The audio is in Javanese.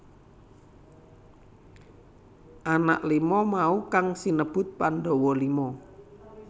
Anak lima mau kang sinebut Pandhawa Lima